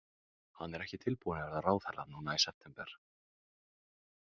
Hann er ekki tilbúinn að verða ráðherra núna í september.